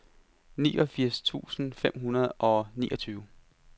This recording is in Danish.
niogfirs tusind fem hundrede og niogtyve